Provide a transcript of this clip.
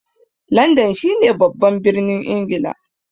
Landan shi ne babban birnin Ingila